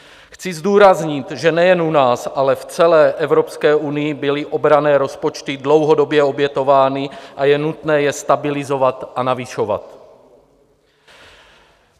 Chci zdůraznit, že nejen u nás, ale v celé Evropské unii byly obranné rozpočty dlouhodobě obětovány a je nutné je stabilizovat a navyšovat.